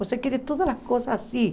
Você quer todas as coisas assim.